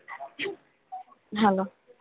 Hello